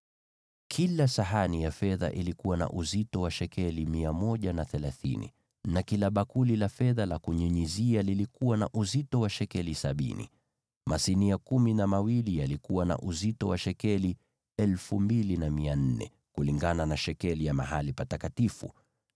Kila sahani ya fedha ilikuwa na uzito wa shekeli 130, na kila bakuli la fedha la kunyunyizia lilikuwa na uzito wa shekeli sabini. Masinia yote kumi na mawili yalikuwa na uzito wa shekeli 2,400 kulingana na shekeli ya mahali patakatifu.